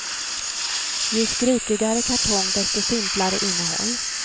Ju skrikigare kartong, desto simplare innehåll.